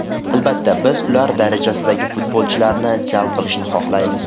Albatta, biz ular darajasidagi futbolchilarni jalb qilishni xohlaymiz.